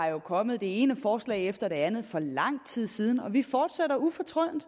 jo kommet det ene forslag efter det andet for lang tid siden og vi fortsætter ufortrødent